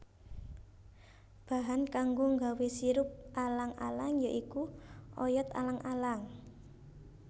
Bahan kanggo nggawé sirup alang alang ya iku oyot alang alang